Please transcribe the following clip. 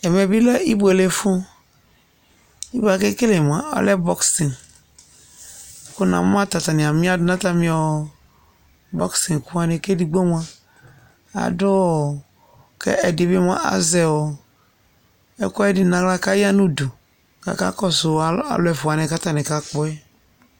Ɛʋɛ bi lɛ obuélé fu Ɛsɛ akéké mua alɛ bɔx Ku na mu atania miadunu atami bɔx ɛkuwani Kévédigbo mua, aduɔ kɛ ɛdibi mua azɛɔ ɛkuɛdi na aɣla kɔya nu udu ka aka kɔsu alu ɛfua wani ka atani ka kpɔɛ